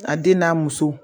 A den n'a muso